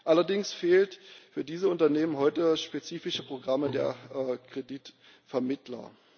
Allerdings fehlt für diese Unternehmen heute das spezifische Programm der Kreditvermittler.